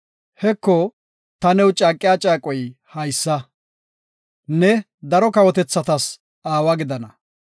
“Heko ta new caaqiya caaqoy haysa; ne daro kawotethatas aawa gidana.